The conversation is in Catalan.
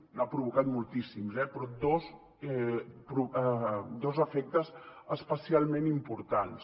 n’ha provocat moltíssims eh però dos efectes especialment importants